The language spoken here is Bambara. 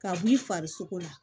Ka b'i farisogo la